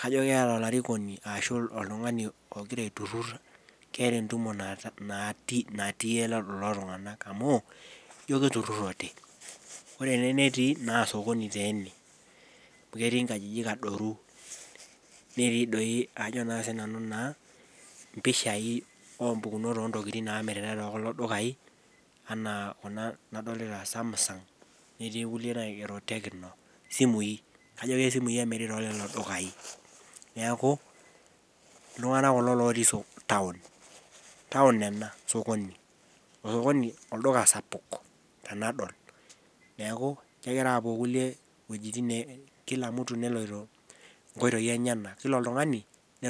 kajo keeta olarikoni ashu oltungani ogira aiturur. keeta entumo natii lelo tunganak amu ijo itururote. ore ene netii, naa sokoni taa ena. amu ketii nkajijik adoru. netii doi aajo naa sii nanu naa mpishai oo ntokitin naamiritae te kulo dukai. anaa Kuna naadolita Samsung. netii kulie naigero tecno. isimui. kajo kesimui emiri too lelo dukayi. neeku, iltunganak kulo lotii taon. taon ena sokoni. sokonj olduka sapuk tenadol. neeku kegira aapuo irkulie iweujitin. kila oltungani neloito nkoitoi enyenak.